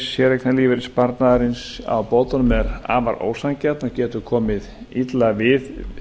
séreignarlífeyrissparnaðarins á bótunum er afar ósanngjörn og getur komið illa við